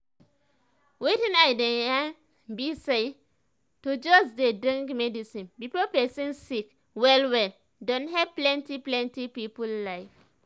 wetin i dey yan bi say to just dey drink medicine before pesin sick well well don help plenti plenti people life